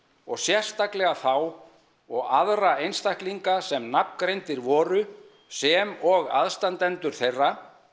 og sérstaklega þá og aðra einstaklinga sem nafngreindir voru sem og aðstandendur þeirra